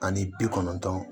Ani bi kɔnɔntɔn